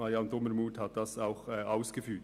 Marianne Dumermuth hat dies auch ausgeführt.